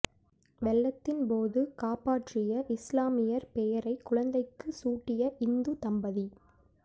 வெள்ளத்தின் போது காப்பாற்றிய இஸ்லாமியர் பெயரை குழந்தைக்கு சூட்டிய இந்து தம்பதி